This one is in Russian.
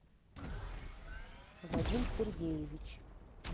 вадим сергеевич